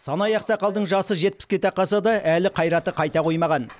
санай ақсақалдың жасы жетпіске тақаса да әлі қайраты қайта қоймаған